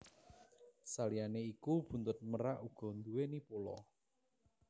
Saliyané iku buntut merak uga nduwèni pola